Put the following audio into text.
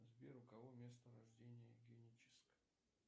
сбер у кого место рождения геническ